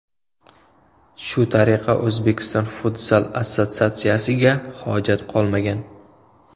Shu tariqa O‘zbekiston Futzal Assotsiatsiyasiga hojat qolmagan.